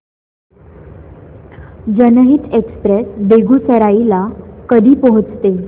जनहित एक्सप्रेस बेगूसराई ला कधी पोहचते